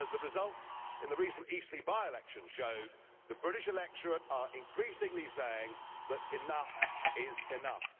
As the results in the recent Eastleigh by election showed, the British electorate are increasingly saying that enough is enough.